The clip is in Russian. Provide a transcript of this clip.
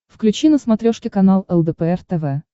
включи на смотрешке канал лдпр тв